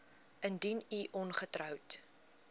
indien u ongetroud